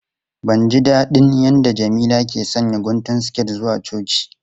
Ban ji dadin yadda Jamila ke sanya guntun siket zuwa coci.